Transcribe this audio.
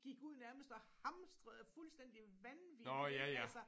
Gik ud nærmest og hamstrede fuldstændig vanvittigt ik altså